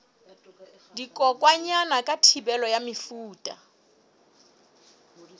dikokwanyana ka thibelo ya mefuta